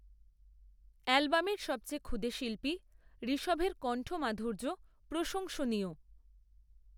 অ্যালবামের সবচেয়ে ক্ষুদে শিল্পী, ঋষভের কন্ঠ মাধুর্য প্রশংসনীয়